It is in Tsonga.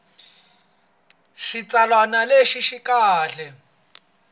xitsalwana lexi xi nga kahle